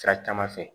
Sira caman fɛ